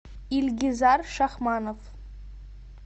ильгизар шахманов